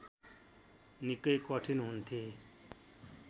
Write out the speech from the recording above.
निकै कठिन हुन्थे